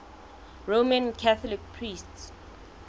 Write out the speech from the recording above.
roman catholic priests